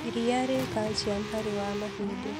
Ĩrĩa rĩ calcĩũm harĩ wa mahĩndĩ